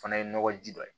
O fana ye nɔgɔ ji dɔ ye